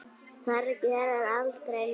Þar gerist aldrei neitt.